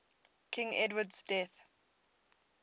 king edward's death